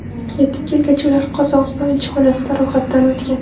Yetib kelgach, ular Qozog‘iston elchixonasida ro‘yxatdan o‘tgan.